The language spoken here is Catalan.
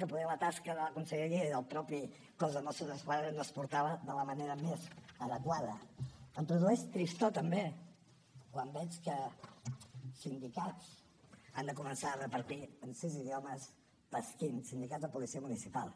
que potser la tasca de la conselleria i del mateix cos de mossos d’esquadra no es portava de la manera més adequada em produeix tristor també quan veig que sindicats han de començar a repartir en sis idiomes pasquins sindicats de policia municipal